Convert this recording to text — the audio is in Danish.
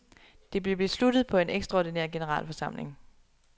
Det blev besluttet på en ekstraordinær generalforsamling.